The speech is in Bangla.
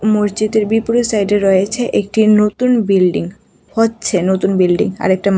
মসজিদের বিপরীত সাইড -এ রয়েছে একটি নতুন বিল্ডিং হচ্ছে নতুন বিল্ডিং আর একটা মা --